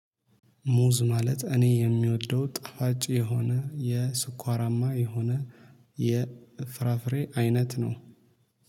ሙዝ ማለት እኔ የሚወደው ጠፋጭ የሆነ የስኳራማ የሆነ የፍራፍሬ አይነት ነው